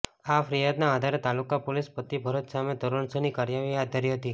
આ ફ્રિયાદના આધારે તાલુકા પોલીસે પતિ ભરત સામે ધોરણસરની કાર્યવાહી હાથ ધરી હતી